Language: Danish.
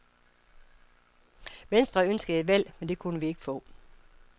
Venstre ønskede et valg, men det kunne vi ikke få.